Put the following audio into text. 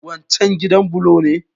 Waccan gidan bulo ne?